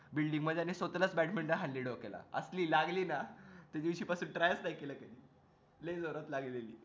building मध्ये आणि स्वतःलाच बॅडमिंटन हाणली डोक्याला असली लागली ना त्यादिवशी पासून try च नाय केलय लय जोरात लागलेली